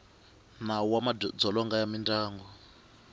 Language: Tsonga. nawu wa madzolonga ya mindyangu